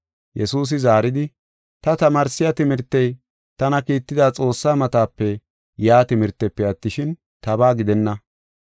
Yesuusi zaaridi, “Ta tamaarsiya timirtey tana kiitida Xoossaa matape yaa timirtefe attishin, tabaa gidenna.